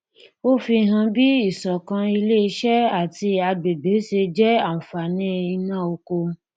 ó fi hàn bí ìṣọkan ilé iṣẹ àti agbègbè ṣe jẹ àǹfààní iná oko